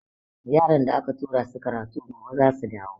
Yaran da aka tura su karatu gobe zasu dawo.